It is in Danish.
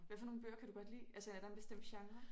Hvad for nogle bøger kan du godt lide altså er der en bestemt genre?